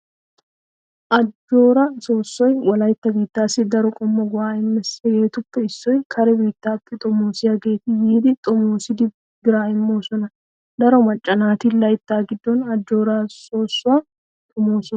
Ajjooraa soossoy wolaita biittaassi daro qommo go'aa immees. hegetuppe issoy kare biittaappe xomoosiyaageeti yiiddi xomoosidi biraa immoosona. Daro macca naati laytta giddon ajjooraa soossuwaa xomoososona.